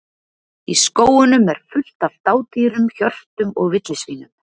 Í skógunum er fullt af dádýrum, hjörtum og villisvínum.